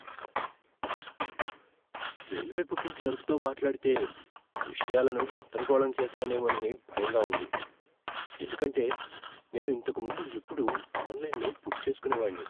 Railway booking క్లర్క్తో మాట్లాడితే, విషయాలను గందరగోళం చేస్తానేమోనని భయంగా ఉంది, ఎందుకంటే నేను ఇంతకు ముందు ఎప్పుడూ ఆన్లైన్లో బుక్ చేసుకునేవాడిని.